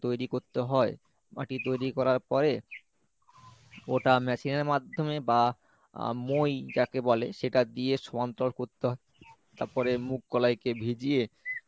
মাটি তৈরী করতে হয় মাটি তৈরী করার পরে ওটা machine এর মাধ্যমে বা মোই যাকে বলে সেটা দিয়ে সমন্তরাল করতে হয় তারপরে মুগ কলাইকে ভিজিয়ে